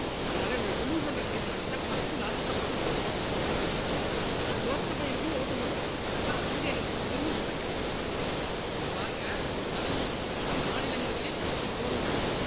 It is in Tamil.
அதனால இவரை remove பண்ற தீர்மானத்தை first ராஜ்யசபால கொண்டு வரணும் ஆனால் லோக்சபா MP யும் vote டு போட்டு இருக்கான் அதனால அங்க என்ன permission வாங்கிடும் அப்ப இதை பாருங்க பதவி நீக்க தீர்மானம் மாநிலங்களவையில் துவங்க வேண்டும்